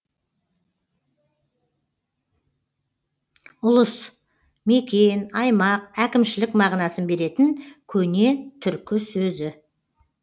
ұлыс мекен аймақ әкімшілік мағынасын беретін көне түркі сөзі